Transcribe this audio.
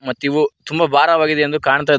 ಮತ್ತಿವು ತುಂಬ ಭಾರವಾಗಿದೆ ಎಂದು ಕಾಣ್ತಾ--